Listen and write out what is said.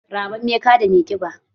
Rammame kaɗa mai kiba